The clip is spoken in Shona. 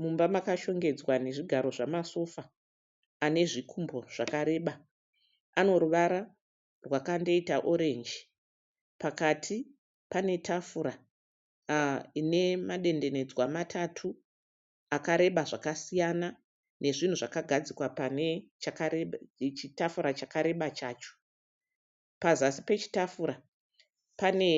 Mumba makashongedzwa nezvigaro zvamasofa ane zvikumbo zvakareba ano ruvara rwakandoita orenji pakati pane tafura ine madendenedzwa matatu akareba zvakasiyana nezvinhu zvakagadzikwa pane chitafura chakareba chacho pazasi pechitafura pane